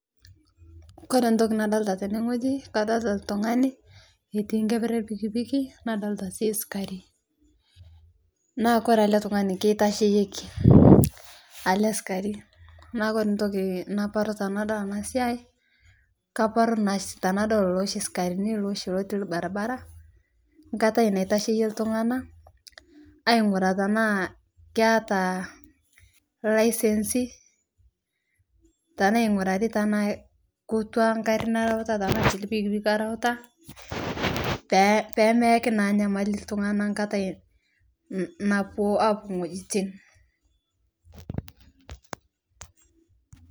Kore ntoki naadolita tenegoji kadolita ltungani etiinkeper elpikipiki naadolita si sikarii, naa kore ale tungani ketasheyieki ale sikari naa kore ntoki nabaru tanadol anasiai kabaru naashi tanadol lol sikarini looshi lotii lbaribara , nkatai naitasheyie ltung'ana ainguraa tanaa keata laisensi tanaa engurari tanaa kotua garii nareuta tanaa si lpikipiki oreutaa peemeaki nyamali ltunganaa katai naapuo apuo ngojitin.